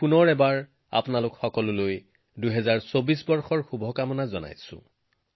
পুনৰবাৰ আপোনালোক সকলোকে ২০২৪ বৰ্ষৰ আন্তৰিক শুভেচ্ছা জনালোঁ